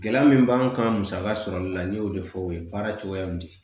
Gɛlɛya min b'an kan musaka sɔrɔli la n'i y'o de fɔ o ye baara cogoya min